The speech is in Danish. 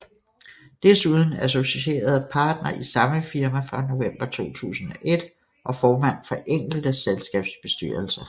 Desuden associeret partner i samme firma fra november 2001 og formand for enkelte selskabsbestyrelser